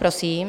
Prosím.